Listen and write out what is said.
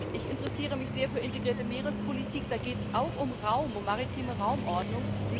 Ich interessiere mich sehr für integrierte Meerespolitik, da geht es auch um Raum um maritime Raumordnung.